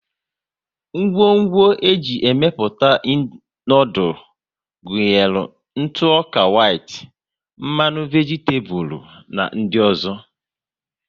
Ngwo ńgwọ e ji emepụta noodules gụnyere ntụ ọka whit, mmanụ vegitabulu na ndị ọzọ